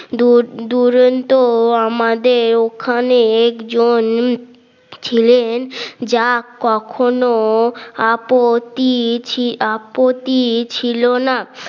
দুরন্ত আমাদের ওখানে একজন ছিলেন যা কখনো আপত্তিছি আপত্তি ছিল না